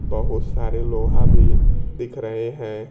बहोत सारे लोहा भी दिख रहे हैं।